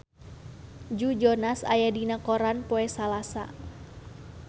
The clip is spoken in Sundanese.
Joe Jonas aya dina koran poe Salasa